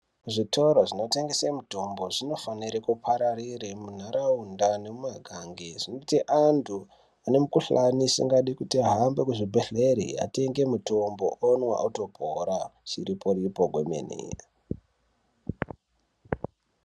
Zvitoro zvinotengese mitombo zvinofanire kupararire munharaunda nemumagange, zvinoite antu ane mukhuhlani isingadi kuti ahambe kuzvibhedhlere ,atenge mitombo, onwa, otopora ,chiripo-ripo chemene.